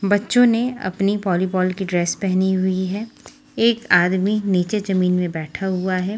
बच्चों ने अपनी वॉलीबॉल की ड्रेस पहनी हुई है एक आदमी नीचे जमीन में बैठा हुआ है।